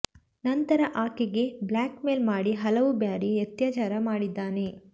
ನಂತರ ಆಕೆಗೆ blackmail ಮಾಡಿ ಹಲವು ಬಾರಿ ಅತ್ಯಾಚಾರ ಮಾಡಿದ್ದಾನೆ